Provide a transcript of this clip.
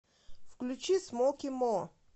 включи смоки мо